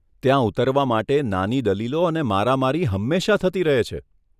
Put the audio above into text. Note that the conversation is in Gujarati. ત્યાં ઉતારવા માટે નાની દલીલો અને મારામારી હંમેશા થતી રહે છે.